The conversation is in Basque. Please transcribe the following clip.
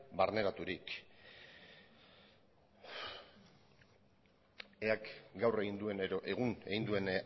barneraturik eak gaur egin duen edo egun egin duen